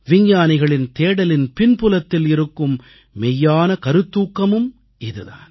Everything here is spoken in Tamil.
விஞ்ஞானிகளின் தேடலின் பின்புலத்தில் இருக்கும் மெய்யான கருத்தூக்கமும் இது தான்